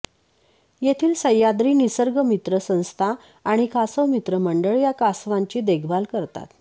येथील सह्याद्री निसर्ग मित्र संस्था आणि कासव मित्र मंडळ या कासवांची देखभाल करतात